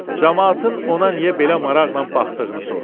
Camaatın ona niyə belə maraqla baxdığını soruşdu.